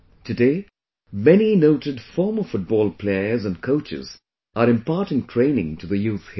Today, many noted former football players and coaches are imparting training to the youth here